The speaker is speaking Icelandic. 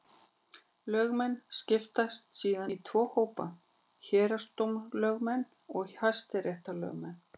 Lögmenn skiptast síðan í tvo hópa: Héraðsdómslögmenn og hæstaréttarlögmenn.